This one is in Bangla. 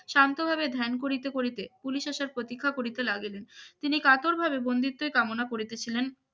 শান্তভাবে ধ্যান করিতে করিতে পুলিশ আসার প্রতীক্ষা করিতে লাগিল তিনি কাতরভাবে বন্দিত্বের কামনা করিতেছিলেন